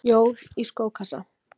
Jól í skókassa